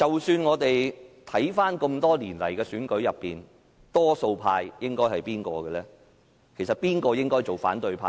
看回這麼多年來的選舉，誰應該是多數派，誰應該當反對派呢？